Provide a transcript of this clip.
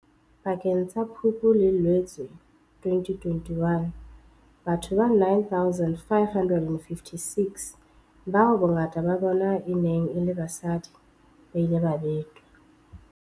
Pakeng tsa Phupu le Loetse 2021, batho ba 9 556, bao bongata ba bona e neng e le basadi, ba ile ba betwa.